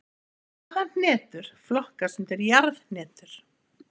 Hvaða hnetur flokkast undir jarðhnetur?